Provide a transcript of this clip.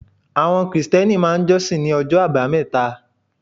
Àwọn Krìstẹ́nì máà ń jọ́sìn ní ọjọ́ àbámẹ́ta